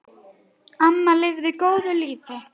Amma lifði góðu lífi.